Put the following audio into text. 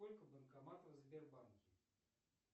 сколько банкоматов в сбербанке